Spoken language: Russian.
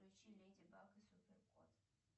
включи леди баг и супер кот